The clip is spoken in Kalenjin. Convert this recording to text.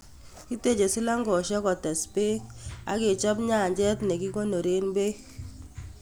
Kiteche silangoshek kotes peek ak kechop nyanchet nikikonoreen peekk